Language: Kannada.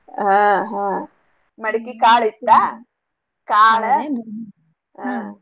ಹಾ ಹಾ ಮಡ್ಕಿ ಕಾಳ್ ಇತ್ತಾ ಕಾಳ್ ಹಾ.